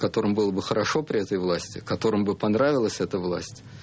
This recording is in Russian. которым было бы хорошо при этой власти которым бы понравилась эта власть